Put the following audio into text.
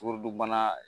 Sukarodunbana